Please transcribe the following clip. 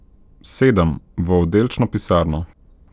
Sedem v oddelčno pisarno.